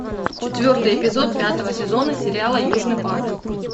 четвертый эпизод пятого сезона сериала южный парк